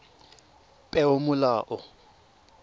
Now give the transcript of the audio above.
peomolao